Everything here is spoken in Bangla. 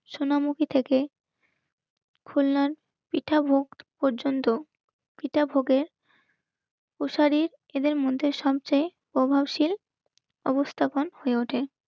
সোনামুখী থেকে কল্যাণ ভোগ পর্যন্ত পিতা ভোগের প্রসারী এদের মধ্যে সবচেয় প্রভাবশীল উপস্থাপন হয়ে ওঠে.